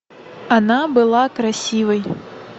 она была красивой